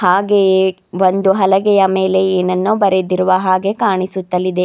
ಹಾಗೆಯೇ ಒಂದು ಹಲಗೆಯ ಮೇಲೆ ಏನನ್ನೋ ಬರೆದಿರುವ ಹಾಗೆ ಕಾಣಿಸುತ್ತಲಿದೆ.